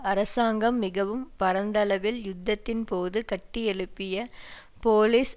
அரசாங்கம் மிகவும் பரந்தளவில் யுத்தத்தின் போது கட்டியெழுப்பிய போலிஸ்